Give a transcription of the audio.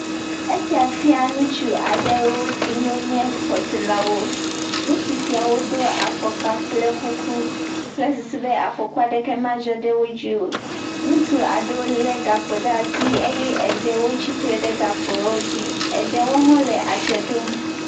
Esia fia nutsu aɖe siwo nye xɔtɔlawo. Nutsu siawo do afɔkpa kple kuku kple susu be afɔkua ɖe ke maa dzɔ ɖe wodzi o. nutsua ɖewo le gakpo ɖe asi, eɖewo tsi tre ɖe gakpo dzi eye eɖewo le adze ɖom.